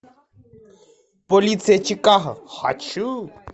полиция чикаго хочу